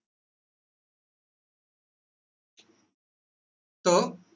টৌ